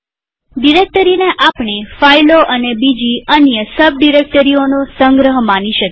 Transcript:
ડિરેક્ટરીને આપણે ફાઈલો અને બીજી અન્ય સબડિરેક્ટરીઓનો સંગ્રહ માની શકીએ